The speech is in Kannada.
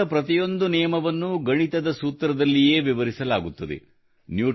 ವಿಜ್ಞಾನದ ಪ್ರತಿಯೊಂದು ನಿಯಮವನ್ನು ಗಣಿತದ ಸೂತ್ರದಲ್ಲಿಯೇ ವಿವರಿಸಲಾಗುತ್ತದೆ